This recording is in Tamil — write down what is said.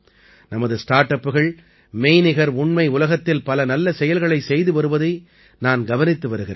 நமது ஸ்டார்ட் அப்புகள் மெய்நிகர் உண்மை உலகத்தில் பல நல்ல செயல்களைச் செய்து வருவதை நான் கவனித்து வருகிறேன்